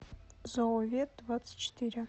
зооветдвадцатьчетыре